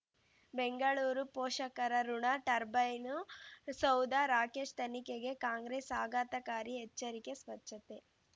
ಬೆಂಗಳೂರು ಪೋಷಕರಋಣ ಟರ್ಬೈನು ಸೌಧ ರಾಕೇಶ್ ತನಿಖೆಗೆ ಕಾಂಗ್ರೆಸ್ ಆಘಾತಕಾರಿ ಎಚ್ಚರಿಕೆ ಸ್ವಚ್ಛತೆ